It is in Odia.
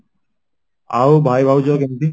ଆଉ ଭାଇ ଭାଉଜ କେମିତି